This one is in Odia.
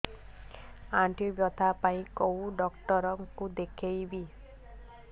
ଆଣ୍ଠୁ ବ୍ୟଥା ପାଇଁ କୋଉ ଡକ୍ଟର ଙ୍କୁ ଦେଖେଇବି